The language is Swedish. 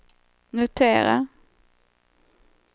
notera